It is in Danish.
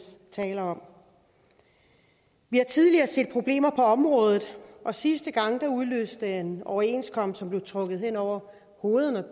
taler om vi har tidligere set problemer på området og sidste gang udløste det en overenskomst som blev trukket hen over hovederne